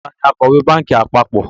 Taàní Akọ̀wẹ́ báànkì àpapọ̀?